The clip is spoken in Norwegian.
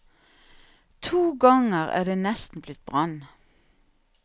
To ganger er det nesten blitt brann.